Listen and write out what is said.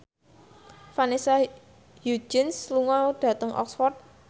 Vanessa Hudgens lunga dhateng Oxford